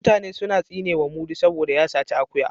Mutane suna tsinewa mudi saboda ya saci akuya